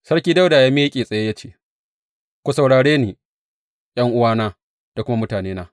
Sarki Dawuda ya miƙe tsaye ya ce, Ku saurare ni, ’yan’uwana da kuma mutanena.